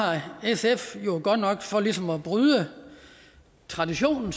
sf jo godt nok for ligesom at bryde traditionen